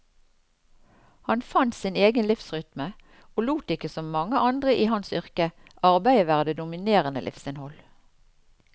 Han fant sin egen livsrytme, og lot ikke som mange andre i hans yrke, arbeidet være det dominerende livsinnhold.